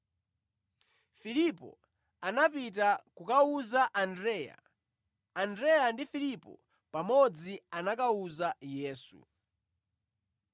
Filipo anapita kukawuza Andreya; Andreya ndi Filipo pamodzi anakawuza Yesu.